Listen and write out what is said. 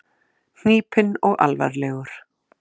Hnípinn og alvarlegur.